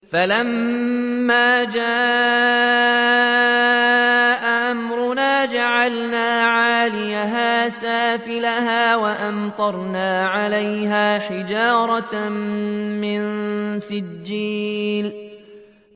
فَلَمَّا جَاءَ أَمْرُنَا جَعَلْنَا عَالِيَهَا سَافِلَهَا وَأَمْطَرْنَا عَلَيْهَا حِجَارَةً مِّن سِجِّيلٍ مَّنضُودٍ